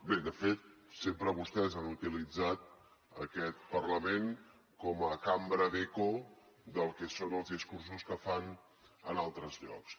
bé de fet sempre vostès han utilitzat aquest parlament com a cambra d’eco del que són els discursos que fan en altres llocs